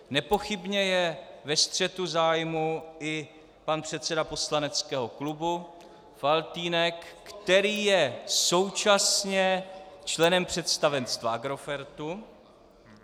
Nepochybně je ve střetu zájmů i pan předseda poslaneckého klubu Faltýnek, který je současně členem představenstva Agrofertu.